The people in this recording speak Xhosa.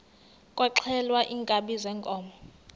kwaxhelwa iinkabi zeenkomo